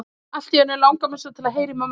Allt í einu langar mig svo til að heyra í mömmu.